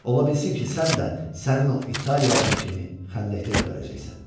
Ola bilsin ki, sən də sənin o İtaliyalın kimi xəndəkdə gəbərəcəksən.